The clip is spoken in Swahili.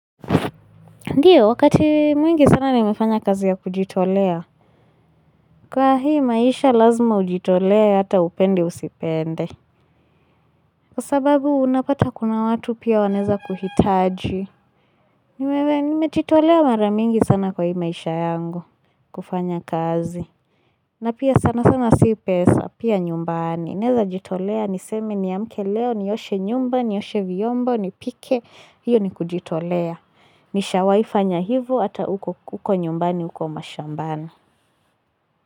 Ndio, wakati mwingi sana nimefanya kazi ya kujitolea. Kwa hii maisha lazima ujitolee, hata upende usipende. Kwa sababu, unapata kuna watu pia wanaeza kuhitaji. Nimejitolea mara mingi sana kwa hii maisha yangu, kufanya kazi. Na pia sana sana si pesa, pia nyumbani. Naeza jitolea, niseme niamke leo, nioshe nyumba, nioshe vyombo, nipike. Hiyo ni kujitolea. Nishawahi fanya hivo ata huko nyumbani uko mashambani.